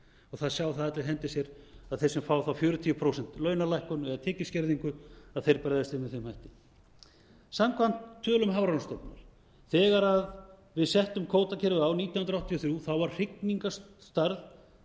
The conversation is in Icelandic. það sjá það allir í hendi sér að þeir sem fá þá fjörutíu prósent launalækkun eða tekjuskerðingu að þeir bregðast við með þeim hætti samkvæmt tölum hafrannsóknastofnunar þegar við settum kvótakerfið á nítján hundruð áttatíu og þrjú var hrygningarstærð